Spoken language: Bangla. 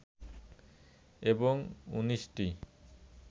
এবং ১৯ টি